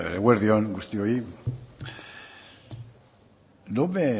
eguerdi on guztioi no me